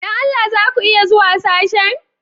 Don Allah za ku iya zuwa sashen?